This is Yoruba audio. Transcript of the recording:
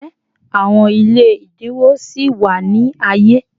Njẹ awọn ile ẹdinwo sì wa ni aye?